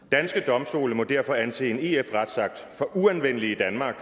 danske domstole må derfor anse en ef retsakt for uanvendelig i danmark